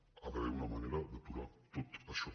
hi ha d’haver una manera d’aturar tot això